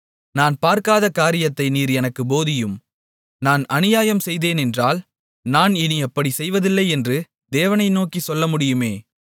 நான் பார்க்காத காரியத்தை நீர் எனக்குப் போதியும் நான் அநியாயம் செய்தேனென்றால் நான் இனி அப்படிச் செய்வதில்லை என்று தேவனை நோக்கிச் சொல்லமுடியுமே